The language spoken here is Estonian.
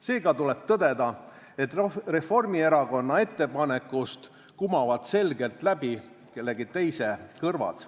Seega tuleb tõdeda, et Reformierakonna ettepanekust kumavad selgelt läbi kellegi teise kõrvad.